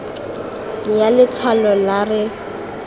ya letshwalo la r e